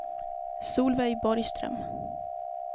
Solveig Borgström